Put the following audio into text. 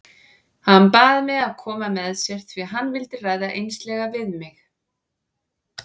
Hann bað mig að koma með sér því hann vildi ræða einslega við mig.